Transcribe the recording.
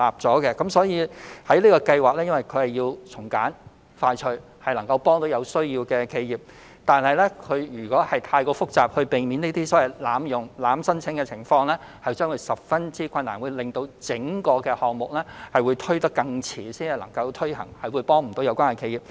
由於我們希望"保就業"計劃能夠從簡和快速推行，從而幫助有需要的企業，如果設計得太複雜，以避免出現濫用情況，便會造成很大困難，令整個項目更遲才能夠推行，也無法幫助有關企業。